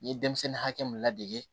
N ye denmisɛnnin hakɛ mu ladege